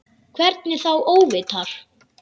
Hvernig þá óvitar?